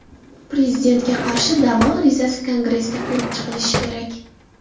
Prezidentga qarshi da’vo arizasi Kongressda ko‘rib chiqilishi kerak.